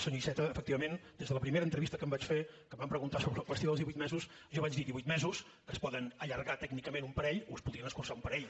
senyor iceta efectivament des de la primera entrevista que em van fer en què em van preguntar sobre la qüestió dels divuit mesos jo vaig dir divuit mesos que es podien allargar tècnicament un parell o es podien escurçar un parell